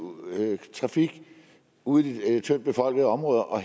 trafik ude i de tyndtbefolkede områder og